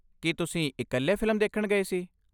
ਕੀ ਤੁਸੀਂ ਇਕੱਲੇ ਫਿਲਮ ਦੇਖਣ ਗਏ ਸੀ?